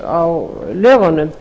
á lögunum